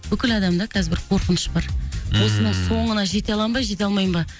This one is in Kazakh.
бүкіл адамда қазір бір қорқыныш бар ммм осының соңына жете аламын ба жете алмаймын ба